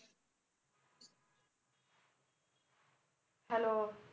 Hello